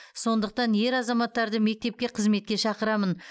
сондықтан ер азаматтарды мектепке қызметке шақырамын